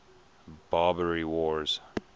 barbary wars